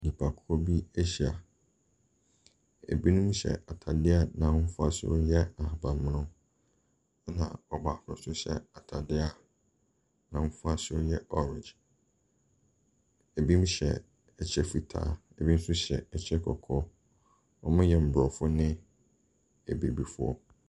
Nnipakuo bi ahyia, ɛbinom hyɛ ataareɛ a n’ahofasuo no yɛ ahabanmono, ɛna ɔbaako so hyɛ ataareɛ a n’ahofasuo yɛ orange. Binom hyɛ ɛkyɛ fitaa na ɔbinom nso hyɛ ɛkyɛ kɔkɔɔ. wɔyɛ aborɔfoɔ ne abibifoɔ.